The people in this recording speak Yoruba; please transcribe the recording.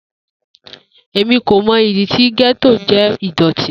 Emi ko mọ idi ti getto jẹ idoti.